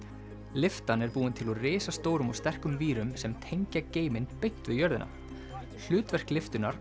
lyftan er búin til úr risastórum og sterkum vírum sem tengja geiminn beint við jörðina hlutverk lyftunnar